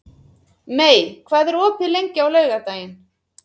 Mey, hvað er opið lengi á laugardaginn?